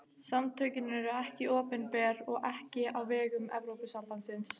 Samtökin eru ekki opinber og ekki á vegum Evrópusambandsins.